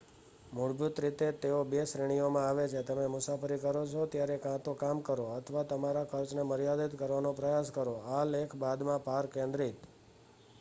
મૂળભૂત રીતે તેઓ બે શ્રેણીઓમાં આવે છેઃ તમે મુસાફરી કરો છો ત્યારે કાં તો કામ કરો અથવા તમારા ખર્ચને મર્યાદિત કરવાનો પ્રયાસ કરો.આ લેખ બાદમાં પર કેન્દ્રિત